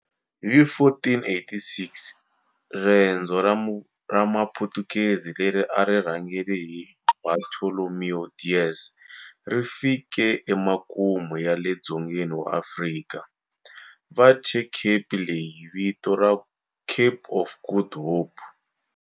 Hi 1486, riendzo ra Maputukezi leri a ri rhangela hi Bartolomeu Dias ri fike emakumu ya le dzongeni wa Afrika, va thye cape leyi vito ra Cape of Good Hope.